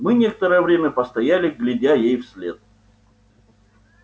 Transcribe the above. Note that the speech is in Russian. мы некоторое время постояли глядя ей вслед